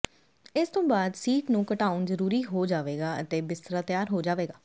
ਇਸ ਤੋਂ ਬਾਅਦ ਸੀਟ ਨੂੰ ਘਟਾਉਣਾ ਜ਼ਰੂਰੀ ਹੋ ਜਾਵੇਗਾ ਅਤੇ ਬਿਸਤਰਾ ਤਿਆਰ ਹੋ ਜਾਵੇਗਾ